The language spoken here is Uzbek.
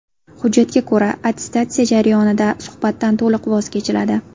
Hujjatga ko‘ra, attestatsiya jarayonida suhbatdan to‘liq voz kechiladi.